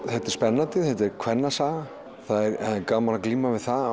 þetta er spennandi þetta er kvennasaga það er gaman að glíma við það